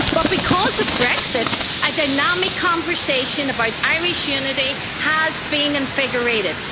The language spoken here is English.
But because of Brexit, a dynamic conversation about Irish unity has been invigorated.